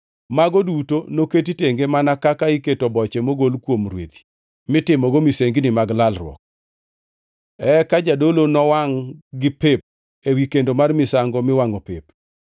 mago duto noket tenge mana kaka iketo boche mogol kuom rwedhi mitimogo misengini mag lalruok. Eka jadolo nowangʼ-gi pep ewi kendo mar misango miwangʼo pep.